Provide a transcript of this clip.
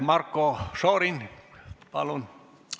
Marko Šorin, palun!